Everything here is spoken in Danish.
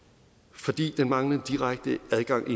fordi den manglende direkte adgang